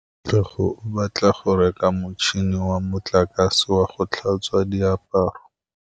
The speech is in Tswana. Katlego o batla go reka motšhine wa motlakase wa go tlhatswa diaparo.